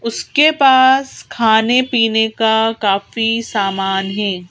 उसके पास खाने पीने का काफी सामान है।